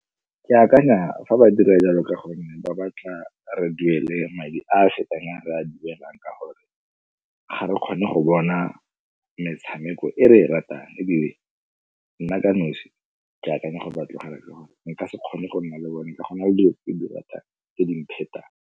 Ke akanya fa ba dira jalo ka gonne ba batla re duele madi a a fetang a re a duelang ka gore ga re kgone go bona metshameko e re e ratang ebile nna ka nosi ke akanya gore ba tlogela ka gore nka se kgone go nna le bone ka go na le dilo tse di ratang, tse di mphetang.